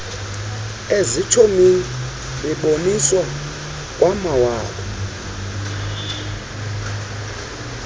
ezitshomini beboniswa kwamawabo